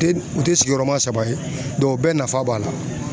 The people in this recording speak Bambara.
U tɛ sigiyɔrɔma saba ye o bɛɛ nafa b'a la.